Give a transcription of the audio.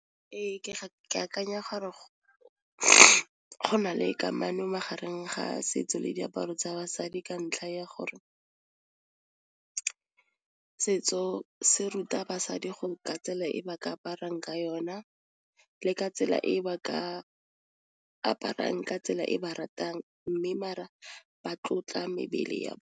Ee, ke akanya gore go na le kamano magareng ga setso le diaparo tsa basadi ka ntlha ya gore setso se ruta basadi go ka tsela e ba aparang ka yona, le ka tsela e ka aparang ka tsela e ba ratang mme maar a ba tlotla mebele .